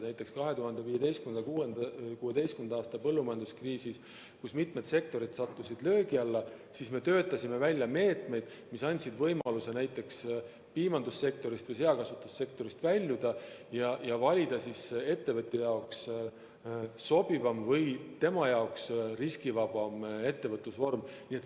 Näiteks 2015.–2016. aasta põllumajanduskriisis, kui mitmed sektorid sattusid löögi alla, me töötasime välja meetmed, mis andsid võimaluse näiteks piimandus- või seakasvatussektorist väljuda ja valida ettevõtjal enda jaoks sobivam või riskivabam ettevõtlusvorm.